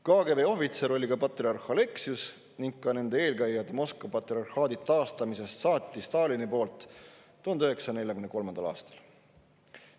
KGB ohvitser oli ka patriarh Aleksius ning seda olid ka nende eelkäijad 1943. aastast saati, mil Stalin Moskva patriarhaadi taastas.